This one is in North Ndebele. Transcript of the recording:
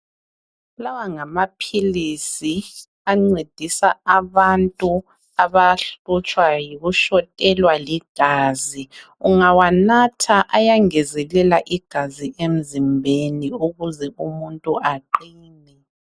Lawa ngamaphilisi ancedisa abantu abahlutshwa yikushotelwa ligazi. Ungawanatha ayangezelela igazi emzimbeni, ukuze umuntu aqine.